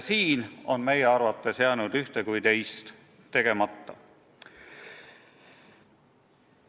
Selles osas on meie arvates jäänud ühte kui teist tegemata.